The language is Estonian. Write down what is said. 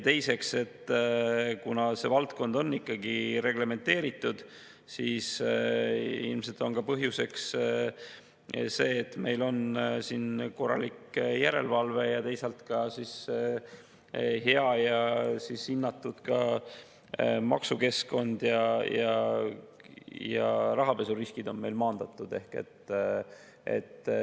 Teiseks, kuna see valdkond on ikkagi reglementeeritud, siis ilmselt on põhjuseks ka see, et meil on siin korralik järelevalve, teisalt ka hea ja hinnatud maksukeskkond ning rahapesuriskid on meil maandatud.